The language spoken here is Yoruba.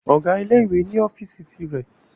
Ọ̀gá ilé ìwé ni ọ́fíìsì ti rẹ̀